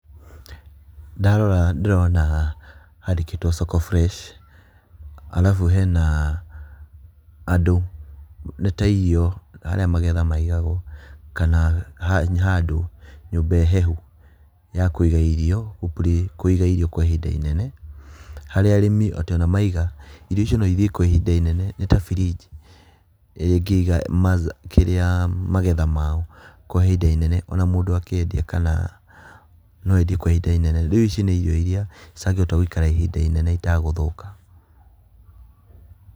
Ndarora ndĩrona handikitwo Soko Freshi arabu hena andũ nĩ ta irio harĩa magetha maigagwo, kana handũ nyũmba hehu ya kũiga irio kũiga irio kwa ihinda inene. Harĩa arĩmi atĩ ona maiga irio icio no ithiĩ kwa ihinda inene nĩ ta firinji ĩrĩa ĩngĩiga kĩrĩa magetha mao kwa ihinda inene na mũndũ akendia kana no endie kwa ihinda inene. Rĩu ici nĩ irio iria citangĩhota gũikara ihinda inene itagũthũka.